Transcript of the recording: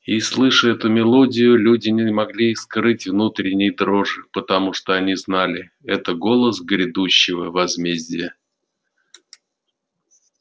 и слыша эту мелодию люди не могли скрыть внутренней дрожи потому что они знали это голос грядущего возмездия